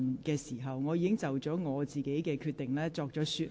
而且，我已就我的裁決作出說明。